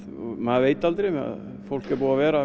maður veit aldrei fólk er búið að vera